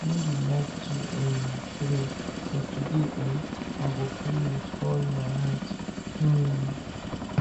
i no dey like to um pray but today um i go pray with all my heart um